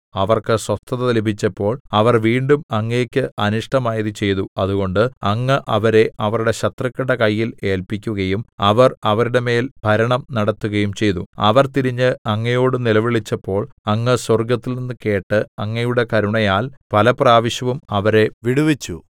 അവർക്ക് സ്വസ്ഥത ലഭിച്ചപ്പോൾ അവർ വീണ്ടും അങ്ങേക്ക് അനിഷ്ടമായത് ചെയ്തു അതുകൊണ്ട് അങ്ങ് അവരെ അവരുടെ ശത്രുക്കളുടെ കയ്യിൽ ഏല്പിക്കുകയും അവർ അവരുടെ മേൽ ഭരണം നടത്തുകയും ചെയ്തു അവർ തിരിഞ്ഞ് അങ്ങയോട് നിലവിളിച്ചപ്പോൾ അങ്ങ് സ്വർഗ്ഗത്തിൽനിന്ന് കേട്ട് അങ്ങയുടെ കരുണയാൽ പലപ്രാവശ്യവും അവരെ വിടുവിച്ചു